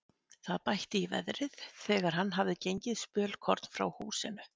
Það bætti í veðrið þegar hann hafði gengið spölkorn frá húsinu.